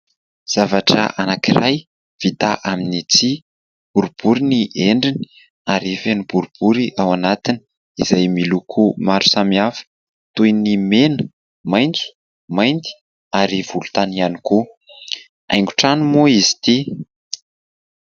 Zavatra anankiray vita amin'ny tsihy, boribory ny endriny ary feno boribory ao anatiny izay miloko maro samihafa toy ny mena, maitso, mainty ary volontany ihany koa, haingotrano moa izy ity.